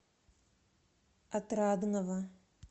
отрадного